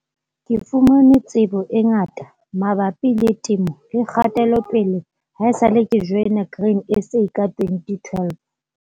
Ke fumane tsebo e ngata mabapil le temo le kgatelopele haesale ke joina Grain SA ka 2012.